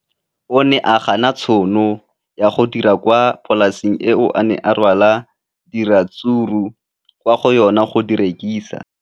O ne a gana tšhono ya go dira kwa polaseng eo a neng rwala diratsuru kwa go yona go di rekisa.